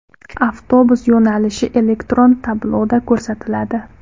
Avtobus yo‘nalishi elektron tabloda ko‘rsatiladi.